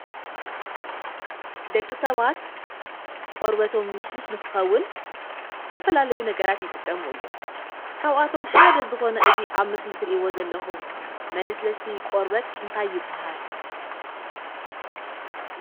ደቂ ሰባት ቆርበቶም ልስሉስ ንክከውን ዝተፈላለዩ ነገራት ይጥቀሙ እዮም፡፡ ካብኣቶም ሓደ ዝኮነ እዚ ኣብ ምስሊ እትሪእዎ ዘለኩም መለስለሲ ቆርበት እንታይ ይባሃል?